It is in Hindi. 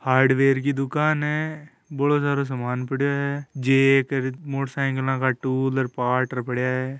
हार्डवेयर की दुकान है बहुत सरो सामान पड़ियो है जेट मोटर साईकिल का टूल पार्ट्स पड़ा है।